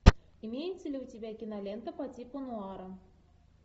имеется ли у тебя кинолента по типу нуара